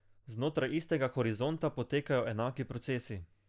Znotraj istega horizonta potekajo enaki procesi.